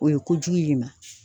O ye kojugu y' i ma.